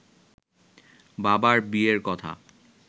বাবার বিয়ের কথা